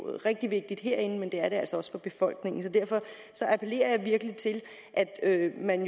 er rigtig vigtigt herinde og det er det altså også for befolkningen så derfor appellerer jeg virkelig til at man